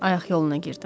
Ayaq yoluna girdim.